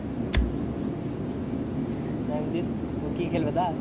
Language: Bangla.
নামিয়ে দিস ও কি খেলবে তা?